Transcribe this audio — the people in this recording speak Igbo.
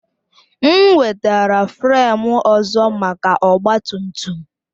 M wetara fremu ọzọ maka ọgba tum tum